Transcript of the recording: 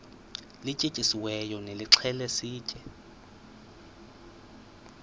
lityetyisiweyo nilixhele sitye